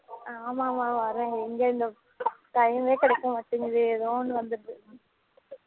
ஆமா நா வரேன் எங்க time கிடைக்க மாட்டுக்கு ஏதோ ஒண்ணு வந்துருது